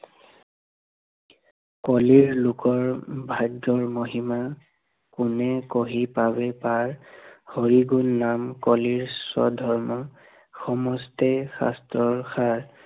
কলিৰ লোকৰ ভাগ্য়ৰ মহিমা, কোনে কহি পাৱে পাৰ, হৰি গুণ নাম কলিৰ স্বধৰ্ম, সমস্তে শাস্ত্ৰৰ হাৰ